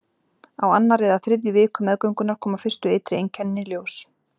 Á annarri eða þriðju viku meðgöngunnar koma fyrstu ytri einkennin í ljós.